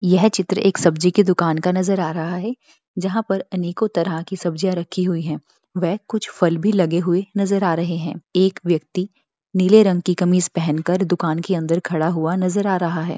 यह चित्र एक सब्जी की दुकान का नजर आ रहा है जहाँ पर अनेकों तरह की सब्ज़ियाँ रखी हुई हैं वै कुछ फल भी लगे हुए नजर आ रहें हैं एक व्यक्ति नीले रंग की कमीज पहन कर दुकान के अंदर खड़ा हुआ नजर आ रहा है।